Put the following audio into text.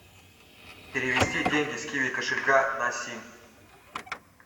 перевести деньги с киви кошелька на сим